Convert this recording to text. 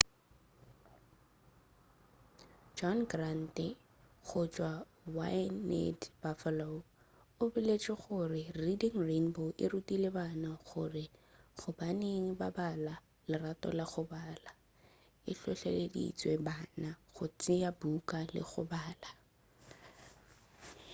john grant go tšwa wned buffalo lefelo la gae la reading rainbow o boletše gore reading rainbow e rutile bana gore gobaneng ba bala,... lerato la go bala — [swantšho] e hlohleleditše bana go tšea buka le go bala.